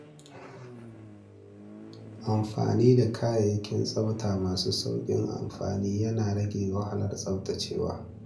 Amfani da kayayyakin tsafta masu sauƙin amfani yana rage wahalar tsaftacewa.